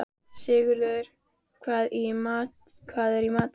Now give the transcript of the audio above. Sigurgeir, hvað er í matinn?